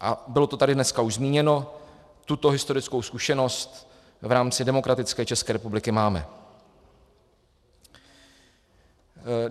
A bylo to tady dneska už zmíněno, tuto historickou zkušenost v rámci demokratické České republiky máme.